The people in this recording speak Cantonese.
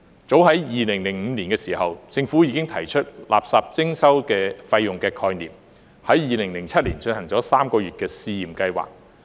早在2005年，政府已提出垃圾徵費的概念 ，2007 年進行了3個月的試驗計劃。